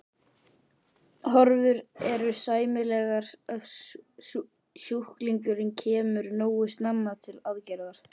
Horfur eru sæmilegar ef sjúklingurinn kemur nógu snemma til aðgerðar.